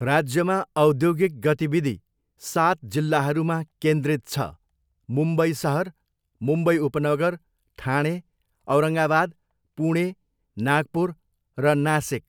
राज्यमा औद्योगिक गतिविधि सात जिल्लाहरूमा केन्द्रित छ, मुम्बई सहर, मुम्बई उपनगर, ठाणे, औरङ्गावाद, पुणे, नागपुर, र नासिक।